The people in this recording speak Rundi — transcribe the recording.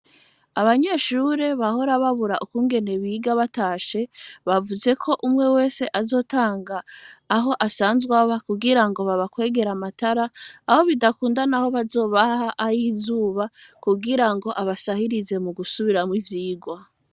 Abanyeshure bahora babura ukungene biga batashe bavuze ko umwe wese azotanga aho asanzwaba kugira ngo baba kwegera amatara aho bidakundana aho bazobaha ay izuba kugira ngo abasahirize mu gusubiramwo ivyigwa.